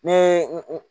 Ne